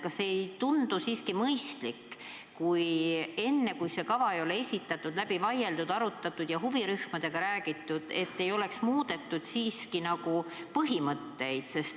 Kas ei tundu siiski mõistlik, et enne, kui seda kava ei ole esitatud ning seda pole läbi vaieldud-arutatud ja huvirühmadega läbi räägitud, ei muudetaks põhimõtteid?